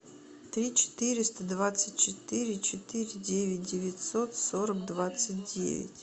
три четыреста двадцать четыре четыре девять девятьсот сорок двадцать девять